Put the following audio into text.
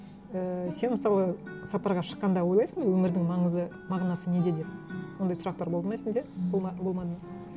ііі сен мысалы сапарға шыққанда ойлайсың өмірдің маңызы мағынасы неде деп ондай сұрақтар болды ма сенде болмады ма